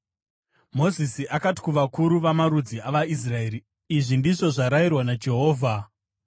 Mozisi akati kuvakuru vamarudzi avaIsraeri, “Izvi ndizvo zvarayirwa naJehovha: